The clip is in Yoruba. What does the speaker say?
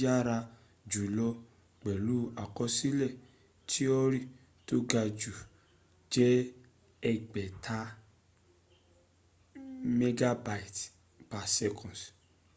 yára jùlọ pẹ̀lú àkọsílẹ̀ tíọ́rì tó gajù jẹ́ ẹgbẹ̀tambit/s